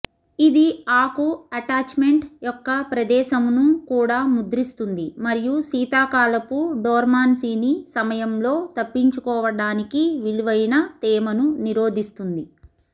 ఇది ఆకు అటాచ్మెంట్ యొక్క ప్రదేశమును కూడా ముద్రిస్తుంది మరియు శీతాకాలపు డోర్మాన్సీని సమయంలో తప్పించుకోవడానికి విలువైన తేమను నిరోధిస్తుంది